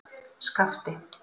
Skapti